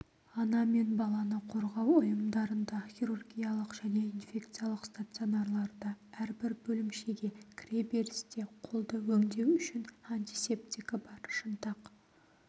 ана мен баланы қорғау ұйымдарында хирургиялық және инфекциялық стационарларда әрбір бөлімшеге кіреберісте қолды өңдеу үшін антисептігі бар шынтақ